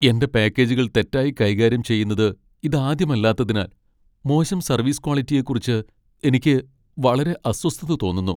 എന്റെ പാക്കേജുകൾ തെറ്റായി കൈകാര്യം ചെയ്യുന്നത് ഇതാദ്യമല്ലാത്തതിനാൽ മോശം സർവീസ് ക്വാളിറ്റിയെക്കുറിച്ച് എനിക്ക് വളരെ അസ്വസ്ഥത തോന്നുന്നു.